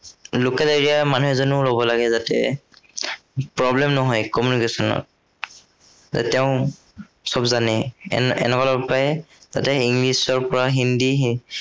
local area ৰ মানুহ এজনো লব লাগে যাতে, problem নহয় communication ৰ যে তেওঁ সব জানেই এনেকুৱা লব পাৰে যাতে ইংলিচৰ পৰা হিন্দী